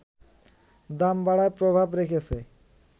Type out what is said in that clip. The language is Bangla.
দাম বাড়ায় প্রভাব রেখেছে